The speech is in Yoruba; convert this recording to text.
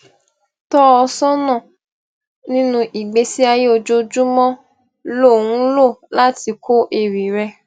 tọ ọ sọnà nínú ìgbésí ayé ojoojúmọ ló ń lò láti kọ àwọn ewì rẹ